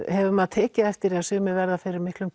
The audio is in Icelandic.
hefur maður tekið eftir að sumir verða fyrir miklum